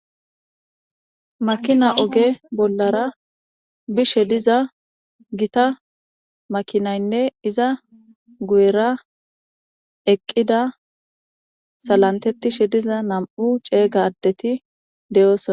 Makina oge bollara bishe diza gita makinaynne iza guyera eqqida salantetishe diza nam7u ceega adeti de7oosona.